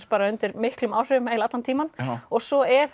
bara undir miklum áhrifum eiginlega allan tímann svo er